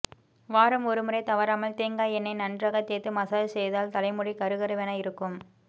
வாரம் ஒருமுறை தவறாமல் தேங்காய் எண்ணெயை நன்றாக தேய்த்து மசாஜ் செய்தால் தலைமுடி கருகருவென இருக்கும்